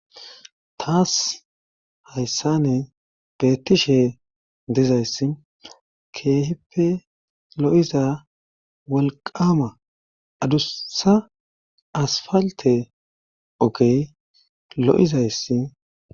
taas hayssane beettishe dizayssi keehippe lo'iza walqama adussa asfalte ogey lo'izayssi